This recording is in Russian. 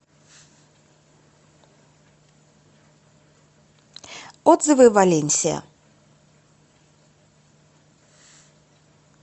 отзывы валенсия